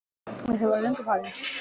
Ég hélt að þið væruð löngu farin